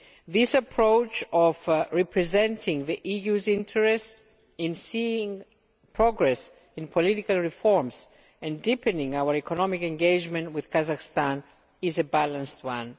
This approach of representing the EU's interests in seeing progress in political reforms and in deepening our economic engagement with Kazakhstan is a balanced one.